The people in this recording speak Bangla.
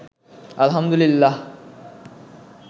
আলহামদুলিল্লাহ